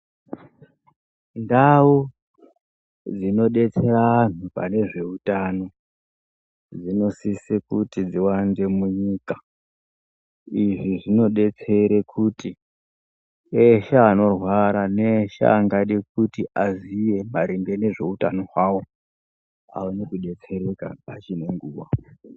Ndau dzinodetsera vantu pane zveutano dzinosise kuti dziwande munyika izvi zvinodetsere kuti eshe anorwara neeshe angade kuti aziya maringe nezveutano hwavo aone kudetsereka pachine nguwa.